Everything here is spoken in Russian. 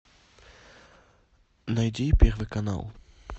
найди первый канал